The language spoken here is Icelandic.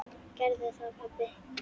Gerðu það pabbi!